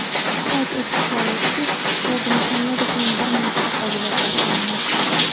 Qayd etish joizki, Berdimuhamedov bir nechta qobiliyatlari bilan mashhur.